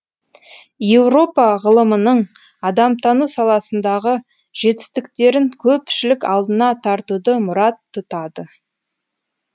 еуропа ғылымының адамтану саласындағы жетістіктерін көпшілік алдына тартуды мұрат тұтады